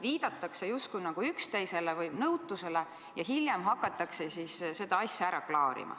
Viidatakse justkui üksteisele või nõutusele ja hiljem hakatakse seda asja klaarima.